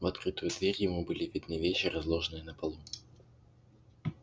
в открытую дверь ему были видны вещи разложенные на полу